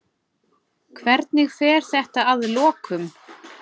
Hvernig fer þetta að lokum?